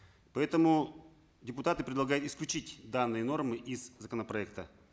поэтому депутаты предлагают исключить данные нормы из законопроекта